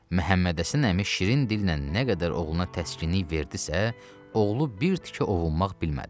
Məhəmmədhəsən əmi şirin dillə nə qədər oğluna təskinlik verdisə, oğlu bir tikə ovunmaq bilmədi.